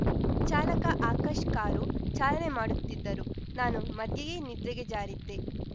ಚಾಲಕ ಆಕಾಶ್‌ ಕಾರು ಚಾಲನೆ ಮಾಡುತ್ತಿದ್ದರು ನಾನು ಮಧ್ಯೆಯೇ ನಿದ್ರೆಗೆ ಜಾರಿದ್ದೆ